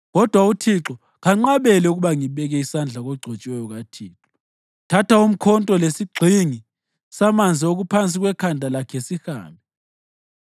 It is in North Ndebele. Kodwa uThixo kanqabele ukuba ngibeke isandla kogcotshiweyo kaThixo. Thatha umkhonto lesigxingi samanzi okuphansi kwekhanda lakhe, sihambe.”